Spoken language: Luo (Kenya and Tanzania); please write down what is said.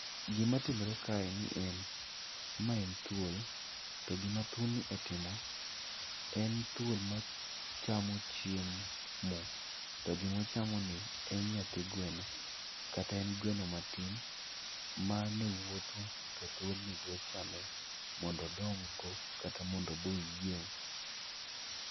Gimatimore kae en ni en, ma en thuol, to gima thuolni otimo, en thuol machamo chiemo, to gimo chamoni, en nyathi gweno kata en gweno matin mane wuotho, to thuolni dwa chame mondo odong go kata mondo obe oyieng'.